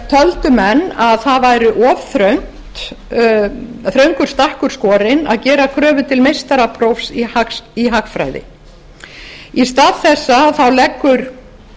töldu menn að það væri of þröngur stakkur skorinn að gera kröfu til meistarapróf í hagfræði í stað þessa leggur